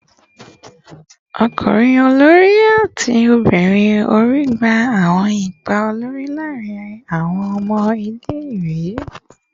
Ọmọkunrin olori ati ọmọbirin ori gba awọn ipa olori laarin awọn ọmọ ile-iwe